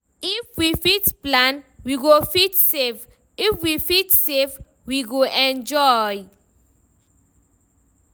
If we fit plan, we go fit save; if we fit save, we go enjoy.